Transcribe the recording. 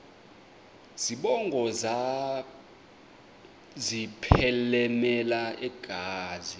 zibongo zazlphllmela engazi